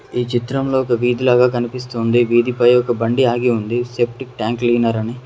ఈ చిత్రంలో ఒక వీధి లాగా కనిపిస్తోంది వీటిపై ఒక బండి ఆగి ఉంది సెప్టిక్ ట్యాంక్ క్లీనర్ అని.